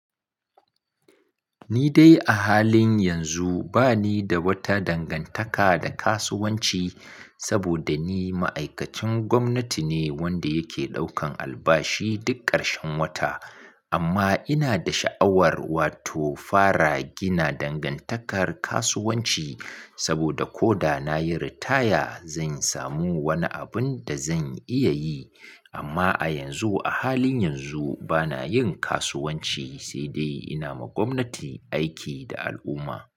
Ni dai a halin yanzu ba ni da wata dangantaka da kasuwanci saboda ni ma'aikacin gwamnati ne wanda yake ɗaukan albashi duk ƙarshen wata. Amma ina da sha'awar wato fara gina dangantakar kasuwanci saboda ko da na yi ritaya zan samu wani abin da zan iya yi. Amma a yanzu, a halin yanzu bana yin kasuwanci sai dai ina ma gwamnati aiki da al'umma.